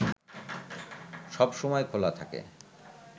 সবসময় খোলা থাকে